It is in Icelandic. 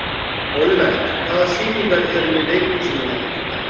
Olivert, hvaða sýningar eru í leikhúsinu á fimmtudaginn?